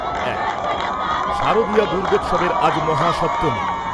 এক, শারদীয়া দুর্গোৎসবের আজ মহাসপ্তমী।